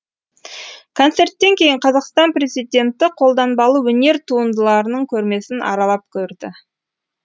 концерттен кейін қазақстан президенті қолданбалы өнер туындыларының көрмесін аралап көрді